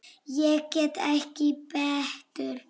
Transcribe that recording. Ég get ekki betur.